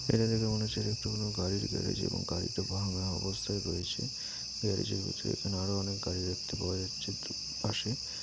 এটা দেখে মনে হচ্ছে যে এটা কোনো গাড়ি গ্যারেজ এবং গাড়িটা ভাঙ্গা অবস্থায় রয়েছে গ্যারেজের ভিতরে এখানে আরো অনেক গাড়ি দেখতে পাওয়া যাচ্ছে দু পাশে --